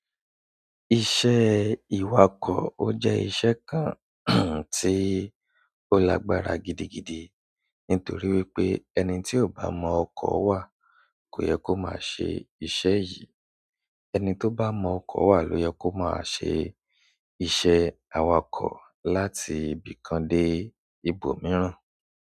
Iṣẹ́ ìwakọ̀ ó jẹ́ iṣẹ́ kan tí ó lágbára gidigidi nítorí wípé ẹni tí ò bá mọ ọkọ̀ wà kò yẹ kó má ṣe iṣẹ́ yìí. Ẹni tó bá mọ ọkọ̀ wà ló yẹ kó máa ṣe iṣẹ́ awakọ̀ láti ibìkan dé ibòmíràn.